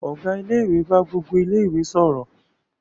Ọ̀gá ilé-ìwé bá gbogbo ilé-ìwé sọ̀rọ̀.